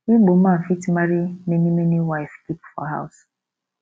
igbo man fit marry many many wive keep for house